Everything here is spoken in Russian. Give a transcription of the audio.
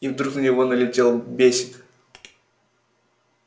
и вдруг на него налетел бесик